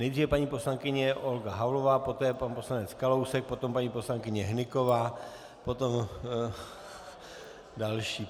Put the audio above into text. Nejdříve paní poslankyně Olga Havlová, poté pan poslanec Kalousek, potom paní poslankyně Hnyková, potom další.